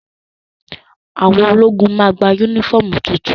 Àwọn ológun máa gba yúnífọ̀mù tuntun